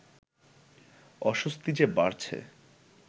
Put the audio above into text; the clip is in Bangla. অস্বস্তি যে বাড়ছে